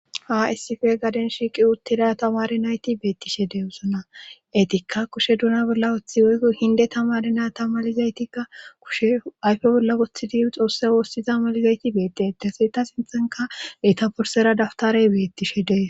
A ssife gaden shiiqi utteda tamari nayti beettishe dee usuna etikka kushe duna bolla woththi oyk hinde tamari na tamalizaytikka kushe ayfe bolla wothi diyu xoosse woossiza malizayti beetdeetese ta sinthanka etaporsera daftarey beettishe dee.